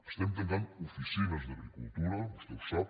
estem tancant oficines d’agricultura vostè ho sap